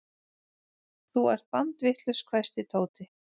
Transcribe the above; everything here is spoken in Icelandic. Þú ert bandvitlaus hvæsti Tóti.